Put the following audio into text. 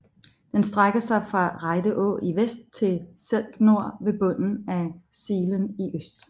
Den strækker sig fra Rejde Å i vest til Selk Nor ved bunden af Slien i øst